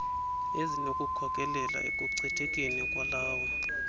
ezinokukhokelela ekuchithekeni kwalawo